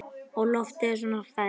Og loftið er svo ferskt.